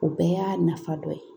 O bɛɛ y'a nafa dɔ ye